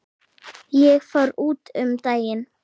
Ég fór út um daginn.